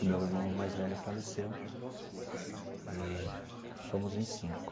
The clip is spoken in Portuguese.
O meu irmão mais velho faleceu e somos em cinco.